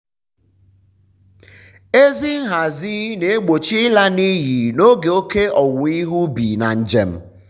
um ezi nhazi um na-egbochi ịla n'iyi n'oge oke owuwe ihe ubi na njem.